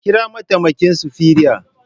Kira mataimaki sufero